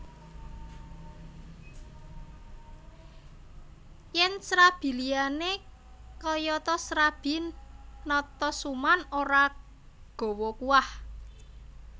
Yen srabi liyane kayata srabi Natasuman ora gawa kuah